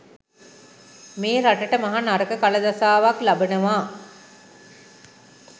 මේ රටට මහ නරක කල දසාවක් ලබනවා.